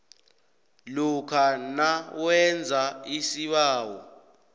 lokha nawenze isibawo